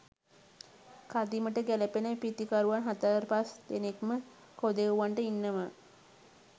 කදිමට ගැලපෙන පිතිකරුවන් හතරපස් දෙනෙක්ම කොදෙව්වන්ට ඉන්නව